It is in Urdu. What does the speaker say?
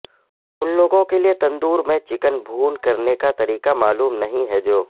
ان لوگوں کے لئے تندور میں چکن بھون کرنے کا طریقہ معلوم نہیں ہے جو